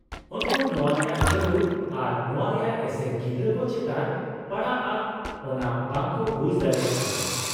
-ᱩᱱᱠᱩ ᱱᱚᱶᱟ ᱨᱮᱭᱟᱜ ᱡᱟᱨᱩᱲ ᱟᱨ ᱱᱚᱶᱟ ᱨᱮᱭᱟᱜ ᱮᱥᱮᱨ ᱜᱤᱫᱽᱨᱟᱹ ᱠᱚ ᱪᱮᱛᱟᱱ ᱯᱟᱲᱟᱜᱼᱟ ᱚᱱᱟ ᱵᱟᱝᱠᱚ ᱵᱩᱡ ᱫᱟᱲᱮᱭᱟᱜ ᱠᱟᱱᱟ ᱾